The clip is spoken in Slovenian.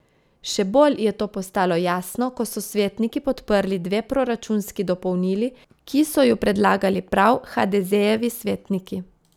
Še bolj je to postalo jasno, ko so svetniki podprli dve proračunski dopolnili, ki so ju predlagali prav hadezejevi svetniki.